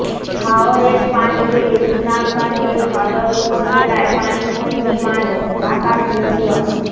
হাওরের পানি বেড়ে সুনামগঞ্জের সদর উপজেলায় পানিবন্দি মানুষ ঢাকা ট্রিবিউন